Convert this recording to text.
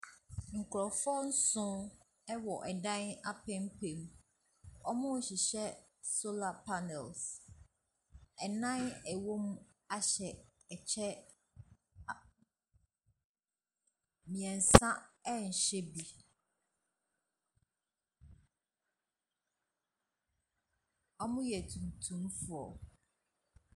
Nkurɔfoɔ nson wɔ dan apampam. Wɔhyerehyehyɛ solar panels. Nnan a wɔwɔ mu ahyɛ ɛkyɛ. A . Mmeɛnsa nhyɛ bi. Wɔyɛ tuntumfoɔ.